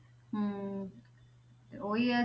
ਹਮ ਤੇ ਉਹੀ ਹੈ